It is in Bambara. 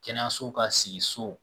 Kɛnɛyaso ka sigi so